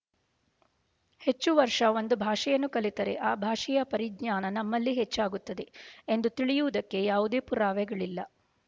ಹೆಚ್ಚು ವರ್ಷ ಒಂದು ಭಾಷೆಯನ್ನು ಕಲಿತರೆ ಆ ಭಾಷೆಯ ಪರಿಜ್ಞಾನ ನಮ್ಮಲ್ಲಿ ಹೆಚ್ಚಾಗುತ್ತದೆ ಎಂದು ತಿಳಿಯುವುದಕ್ಕೆ ಯಾವುದೇ ಪುರಾವೆಗಳಿಲ್ಲ